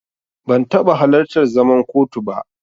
Ban taɓa halartar zaman kotu ba.